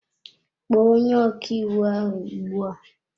Kpọọ onye ọkàiwu ahụ ugbu a!